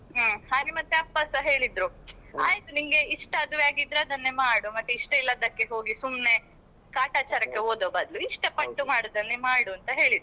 ಹ್ಮ್ ಹಾಗೆ ಮತ್ತೆ ಅಪ್ಪಸ ಹೇಳಿದ್ರು ಆಯ್ತು ನಿಂಗೆ ಇಷ್ಟ ಅದುವೇ ಆಗಿದ್ರೆ ಅದನ್ನೇ ಮಾಡು ಮತ್ತೆ ಇಷ್ಟ ಇಲ್ಲದ್ದಕ್ಕೆ ಹೋಗಿ ಸುಮ್ನೆ ಕಾಟಾಚಾರಕ್ಕೆ ಓದೋ ಬದ್ಲು ಇಷ್ಟ ಪಟ್ಟು ಮಾಡೋದನ್ನೇ ಮಾಡು ಅಂತ ಹೇಳಿದ್ರು.